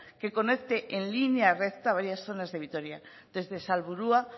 que conecte en línea recta varias zonas de vitoria desde salburua